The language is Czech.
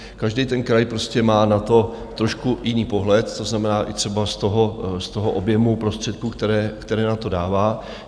Každý ten kraj prostě má na to trošku jiný pohled, to znamená i třeba z toho objemu prostředků, které na to dává.